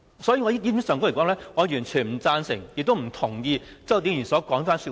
所以，就這點上，我完全不同意周浩鼎議員這番說話。